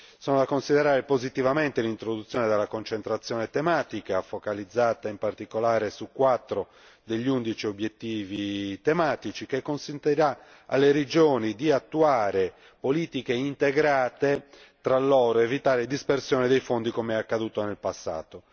Sono da considerare positivamente l'introduzione della concentrazione tematica, focalizzata in particolare su quattro degli undici obiettivi tematici, che consentirà alle regioni di attuare politiche integrate tra loro, evitando dispersioni dei fondi come accaduto in passato.